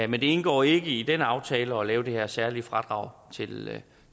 men det indgår ikke i den aftale at lave det her særlige fradrag